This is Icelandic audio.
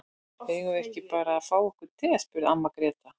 Eigum við ekki bara að fá okkur te, spurði amma Gréta.